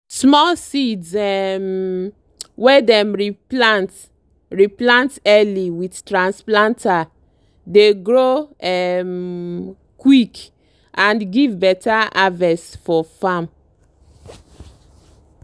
small seeds um wey dem re plant re plant early with transplanter dey grow um quick and give better harvest for farm.